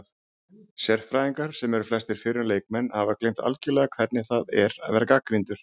Sérfræðingar, sem eru flestir fyrrum leikmenn, hafa gleymt algjörlega hvernig það er að vera gagnrýndur